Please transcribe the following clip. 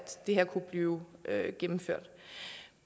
det her kunne blive gennemført